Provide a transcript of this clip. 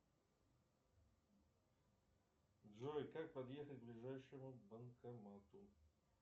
джой как подъехать к ближайшему банкомату